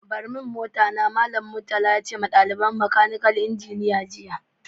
Bar mun mota na yanzu! Mallam Murtala ya ce ma dalibain makanikal injiniya jiya.